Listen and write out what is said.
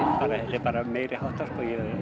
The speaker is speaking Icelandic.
er bara meiriháttar